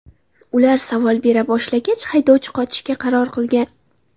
Ular savol bera boshlagach, haydovchi qochishga qaror qilgan.